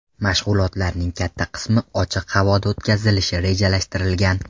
Mashg‘ulotlarning katta qismi ochiq havoda o‘tkazilishi rejalashtirilgan.